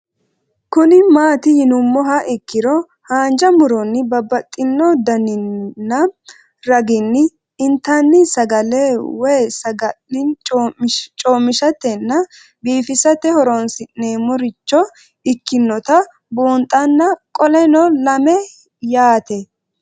Kuni mati yinumoha ikiro hanja muroni babaxino daninina ragini intani sagale woyi sagali comishatenna bifisate horonsine'morich ikinota bunxana qoleno lame yaate